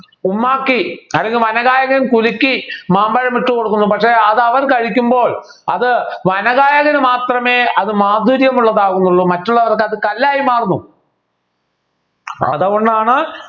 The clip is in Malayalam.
ഉമ്മാക്കി അല്ലെങ്കിൽ വനഗായകൻ കുലുക്കി മാമ്പഴം ഇട്ടുകൊടുക്കുന്നു പക്ഷേ അത് അവൻ കഴിക്കുമ്പോൾ അത് വനഗായകന് മാത്രമേ അത് മാധുര്യമുള്ളതാവുന്നുള്ളൂ മറ്റുള്ളവരുടെ അത് കല്ലായി മാറുന്നു അതുകൊണ്ടാണ്